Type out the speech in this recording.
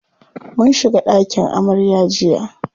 Mun shiga ɗakin amarya jiya.